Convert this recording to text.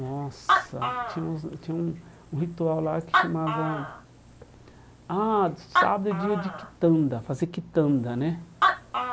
Nossa, tinha uns tinha um um ritual lá que chamava... Ah, sábado é dia de Kitanda, fazer Kitanda, né?